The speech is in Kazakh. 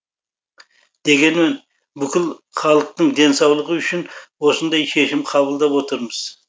дегенмен бүкіл халықтың денсаулығы үшін осындай шешім қабылдап отырмыз